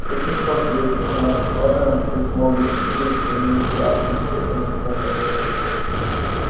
с каких пор свидетельства наших органов чувств могут идти в сравнение с ярким светом строгой логики